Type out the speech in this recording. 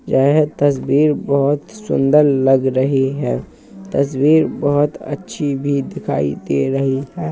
यह तस्बीर बहोत सुंदर लग रही है | तस्बीर बहोत अच्छी भी दिखाई दे रही है।